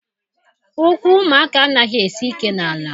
Ụkwụ ụmụaka anaghị esi ike n'ala